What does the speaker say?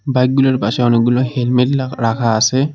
বাইকগুলার পাশে অনেকগুলো হেলমেট লাগ রাখা আসে।